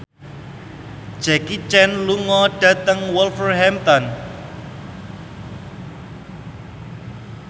Jackie Chan lunga dhateng Wolverhampton